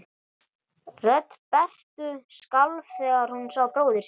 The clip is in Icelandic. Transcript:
Rödd Berthu skalf þegar hún sá bróður sinn.